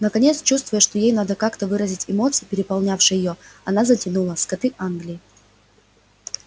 наконец чувствуя что ей надо как-то выразить эмоции переполнявшие её она затянула скоты англии